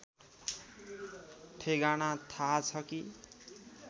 ठेगाना थाहा छ कि